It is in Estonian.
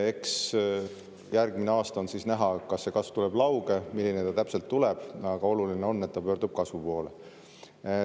Eks järgmine aasta on siis näha, kas see kasv tuleb lauge, milline ta täpselt tuleb, aga oluline on, et ta pöördub kasvu poole.